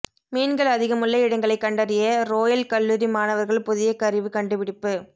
மீன்கள் அதிகமுள்ள இடங்களை கண்டறிய றோயல் கல்லூரி மாணவர்கள் புதிய கருவி கண்டுபிடிப்பு